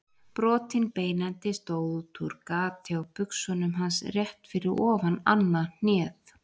Brotinn beinendi stóð útúr gati á buxunum hans rétt fyrir ofan annað hnéð.